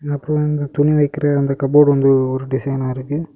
அந்த புள்ளைங்க துணி வைக்கிற அந்த காபோர்டு வந்து ஓரு டிசைன்னா இருக்கு.